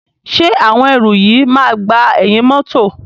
Ṣé àwọn ẹrù yìí máa gba ẹ̀yìn mọ́tọ̀.